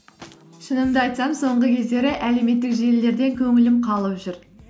шынымды айтсам соңғы кездері әлеуметтік желілерден көңілім қалып жүр